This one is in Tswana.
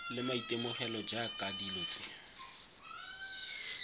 le maitemogelo jaaka dilo tse